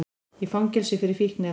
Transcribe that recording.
Í fangelsi fyrir fíkniefnabrot